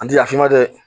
An tila f'i ma dɛ